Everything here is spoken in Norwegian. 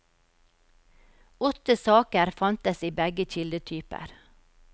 Åtte saker fantes i begge kildetyper.